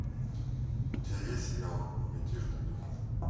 у тебя есть сериал мятежный дух